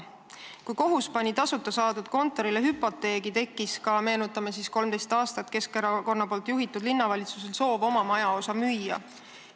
Kui kohus seadis tasuta saadud kontorile hüpoteegi, tekkis ka, meenutame, 13 aastat Keskerakonna juhitud linnavalitsusel soov oma majaosa müüa.